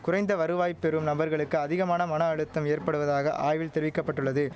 குறைந்த வருவாய் பெறும் நபர்களுக்கு அதிகமான மன அழுத்தம் ஏற்படுவதாக ஆய்வில் தெரிவிக்க பட்டுள்ளது